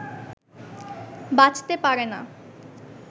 বাঁচতে পারে না